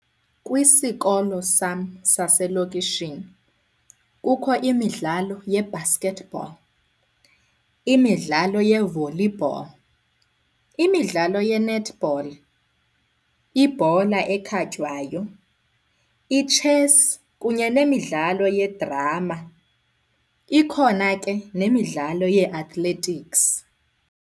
Kwisikolo sam saselokishini kukho imidlalo ye-basketball, imidlalo ye-volleyball, imidlalo ye-netball, ibhola ekhatywayo, itshesi kunye nemidlalo yedrama. Ikhona ke nemidlalo yee-athletics.